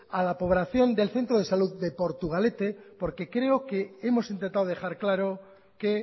a la población del centro de salud de portugalete porque creo que hemos intentado dejar claro que